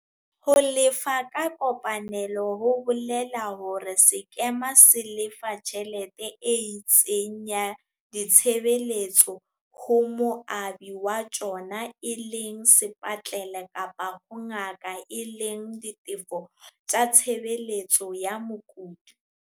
Ho lefa ka kopanelo ho bole la hore sekema se lefa tjhelete e itseng ya ditshebeletso ho moabi wa tsona e leng sepatlele kapa ho ngaka e leng ditefo tsa ditshebeletso tsa mokudi.